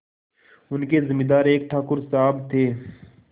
उनके जमींदार एक ठाकुर साहब थे